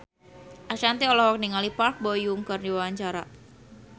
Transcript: Ashanti olohok ningali Park Bo Yung keur diwawancara